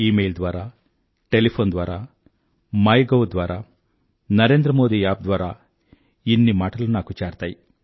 ఈ మెయిల్ ద్వారా టెలీఫోన్ ద్వారా మైగోవ్ ద్వారా NarendraModiApp ద్వారా ఇన్ని మాటలు నాకు చేరతాయి